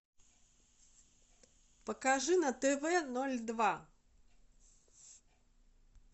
покажи на тв ноль два